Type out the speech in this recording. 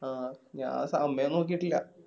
ആഹ് ഞാ സമയം നോക്കിട്ടില്ല